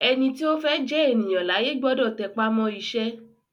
Ẹni tí ó fẹ́ jẹ́ ènìyàn láyé gbọ́dọ̀ tẹpá mọ́ iṣẹ́